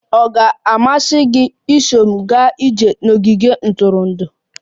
Ọ ga-amasị gị iso m gaa ije n'ogige ntụrụndụ?